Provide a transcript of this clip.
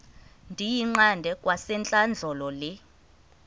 ndiyiqande kwasentlandlolo le